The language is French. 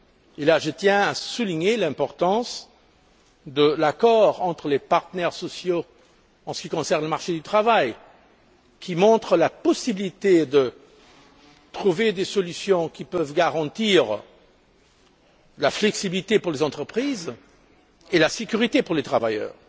Et là, je tiens à souligner l'importance de l'accord entre les partenaires sociaux en ce qui concerne le marché du travail, qui montre qu'il est possible de trouver des solutions qui peuvent garantir la flexibilité pour les entreprises et la sécurité pour les travailleurs.